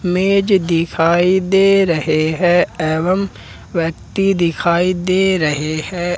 मेज दिखाई दे रहे हैं एवं व्यक्ति दिखाई दे रहे हैं।